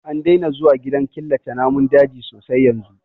An daina zuwa gidan killace namun daji sosai yanzu